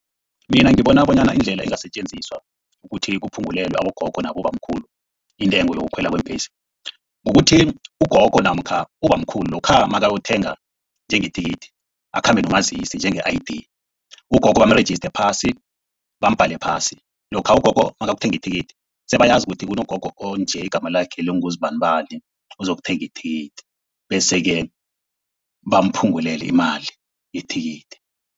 Mina ngibona bonyana indlela engasetjenziswa ukuthi kuphungulelwe abogogo nabobamkhulu intengo yokukhwela kweembhesi, kukuthi ugogo namkha ubamkhulu lokha nakayokuthenga njenge thikithi akhambe nomazisi njenge-ID. Ugogo bamrejiste phasi, bambhale phasi. Lokha ugogo nakayokuthenga ithikithi sebayazi ukuthi kunogogo onje igama lakhe linguzibanibani ozokuthenga ithikithi bese-ke bamphungulele imali yethikithi.